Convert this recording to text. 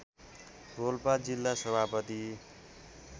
रोल्पा जिल्ला सभापति